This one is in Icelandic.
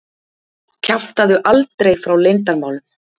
Kjaftaðu aldrei frá leyndarmálum!